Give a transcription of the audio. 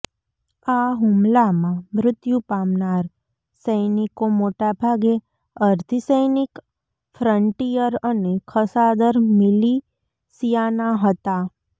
આ હુમલામાં મૃત્યુ પામનાર સૈનિકો મોટાભાગે અર્ધિસૈનિક ફ્રંટીયર અને ખસાદર મિલિશિયાનાં હતાં